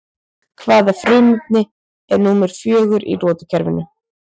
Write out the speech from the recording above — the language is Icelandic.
Hvaða frumefni er númer fjögur í lotukerfinu?